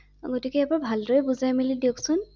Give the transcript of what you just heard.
গতিকে এবাৰ ভালদৰে বুজাই মেলি দিয়কচোন ৷